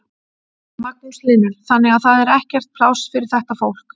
Magnús Hlynur: Þannig að það er ekkert pláss fyrir þetta fólk?